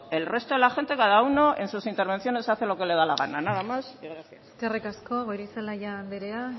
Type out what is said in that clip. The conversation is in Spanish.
el resto de la gente cada uno en sus intervenciones hace lo que le da la gana nada más y gracias eskerrik asko goirizelaia andrea